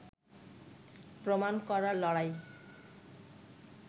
প্রমাণ করার লড়াই